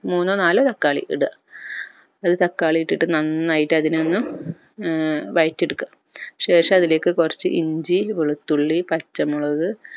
മൂന്നോ നാലോ തക്കാളി ഇട അത് തക്കാളി ഇട്ടിട്ട് നന്നായിട്ട് അതിനെയൊന്ന് ഏർ വയറ്റി എടുക്ക ശേഷം അതിലേക്ക് കൊർച്ച് ഇഞ്ചി വെളുത്തുള്ളി പച്ചമുളക്